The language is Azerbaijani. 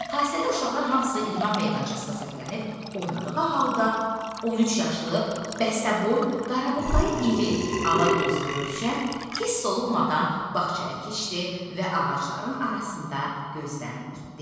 Fasilədə uşaqlar hamısı idman meydançasına səpələnib oynadığı halda 13 yaşlı, bəstəboy, qarabuğdayı iri alagözlü Rövşən hiss olunmadan bağçaya keçdi və ağacların arasında gözdən itdi.